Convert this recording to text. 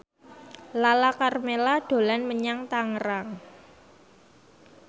Lala Karmela dolan menyang Tangerang